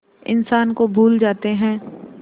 इंसान को भूल जाते हैं